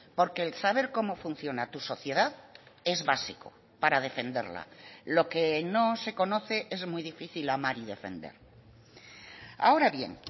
porque el saber cómo funciona tu sociedad es básico para defenderla lo que no se conoce es muy difícil amar y defender ahora bien